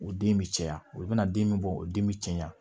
O den bɛ caya olu bɛna den min bɔ o den bɛ caya